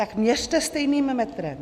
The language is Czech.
Tak měřte stejným metrem.